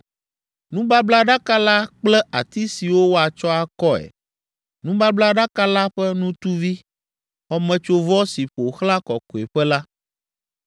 nubablaɖaka la kple ati siwo woatsɔ akɔe, nubablaɖaka la ƒe nutuvi, Xɔmetsovɔ si ƒo xlã Kɔkɔeƒe la,